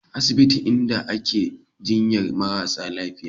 Asibiti ne inda ake jinyar marasa lafiya